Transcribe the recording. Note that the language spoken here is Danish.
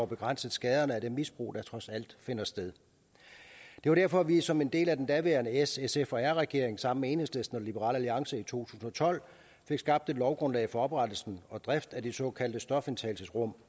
begrænset skaderne af det misbrug der trods alt finder sted det var derfor at vi som en del af den daværende s sf r regering sammen med enhedslisten og liberal alliance i to tusind og tolv fik skabt et lovgrundlag for oprettelse og drift af det såkaldte stofindtagelsesrum